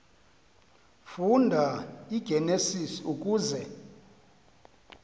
funda igenesis uze